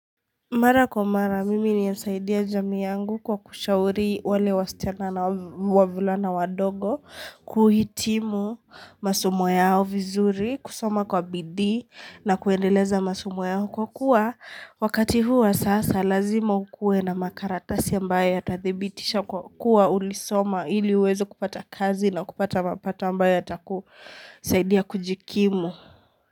Mara kwa mara, mimi ninasaidia jamii yangu kwa kushauri wale wasichana na wavulana wadogo, kuhitimu masomu yao vizuri, kusoma kwa bidii na kuendeleza masumu yao. Kwa kuwa, wakati huu wa sasa, lazima ukuwe na makaratasi ambayo yatathibitisha kwa kuwa ulisoma ili uweze kupata kazi na kupata mapato ambayo yatakusaidia kujikimu.